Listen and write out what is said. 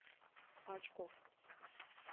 очкофф